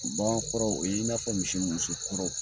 Bagan kɔrɔw o ye i n'a fɔ misi muso kɔrɔw.